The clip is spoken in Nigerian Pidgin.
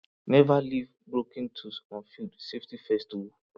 never leave broken tools on field safety first o